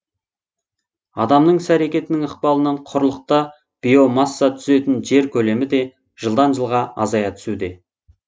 адамның іс әрекетінің ықпалынан құрлықта биомасса түзетін жер көлемі де жылдан жылға азая түсуде